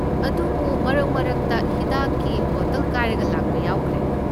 ꯑꯗꯨꯕꯨ ꯃꯔꯛꯃꯔꯛꯇ ꯍꯤꯗꯥꯛꯀꯤ ꯕꯣꯇꯜ ꯀꯥꯏꯔꯒ ꯂꯥꯛꯄ ꯌꯥꯎꯈ꯭ꯔꯦ꯫